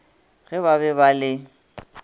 ge ba be ba le